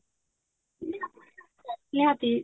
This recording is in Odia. ନିହାତି